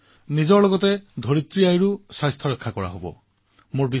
এই অভিযানৰ দ্বাৰা জনসাধাৰণৰ মাজত ফিটনেছৰ সৈতে স্বচ্ছতাক লৈও সজাগতা বৃদ্ধি হৈছে